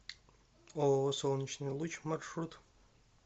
ооо солнечный луч маршрут